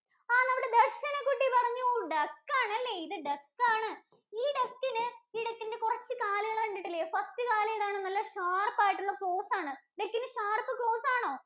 ആഹ് നമ്മുടെ ദര്‍ശനകുട്ടി പറഞ്ഞു Duck ആണല്ലെ, ഇത് Duck ആണ്. Duck ഇന് ഈ duck ഇന്‍റെ കുറച്ച് കാല് കണ്ടിട്ടില്ലേ, first കാല് ഏതാണ്? നല്ല sharp ആയിട്ടുള്ള claws ആണ്. Duck ഇന് sharp claws ആണോ?